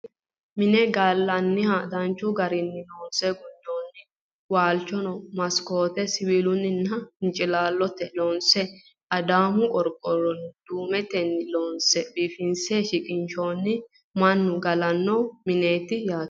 mine gallanniha danchu garinni loonse gundeenna walchono maskooteno siwiilunna hincilaallotenni loonse adaamu qorqorro duumetenni loonse biifinse shiqinshoonni mannu galanno mineeti yaate